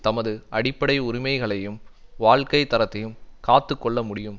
தமது அடிப்படை உரிமைகளையும் வாழ்க்கை தரத்தையும் காத்து கொள்ள முடியும்